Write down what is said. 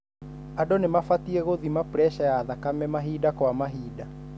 Andũ nĩmabatie gũthima puresha ya thakame mahinda kwa mahinda.